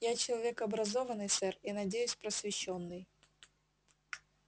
я человек образованный сэр и надеюсь просвещённый